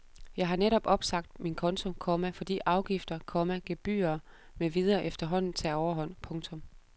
Jeg har netop opsagt min konto, komma fordi afgifter, komma gebyrer med videre efterhånden tager overhånd. punktum